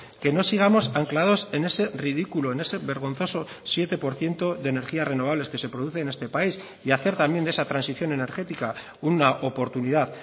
que no sigamos anclados en ese ridículo en ese vergonzoso siete por ciento de energías renovables que se produce en este país y hacer también de esa transición energética una oportunidad